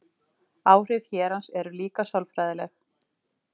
áhrif hérans eru líka sálfræðileg